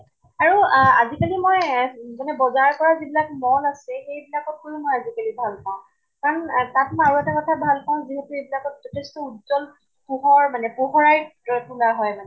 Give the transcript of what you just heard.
আৰু আহ আজি কালি মই যেনে বজাৰ কৰা যিবিলাক mall আছে, সেই বিলাকতো গৈও মই আজি কালি ভাল পাওঁ। কাʼন তাত্মই আৰু এটা কথা ভাল পাওঁ যিহেতু এইবিলাকত যথেষ্ট উজ্জ্বল পোহৰ মানে, পোহৰাই তোলা হয় মানে।